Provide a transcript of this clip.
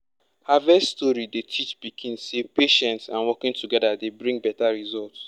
harvest story dey teach pikin say patience and working together dey bring better result.